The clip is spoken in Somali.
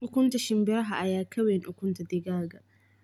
Ukunta shinbiraha ayaa ka weyn ukunta digaagga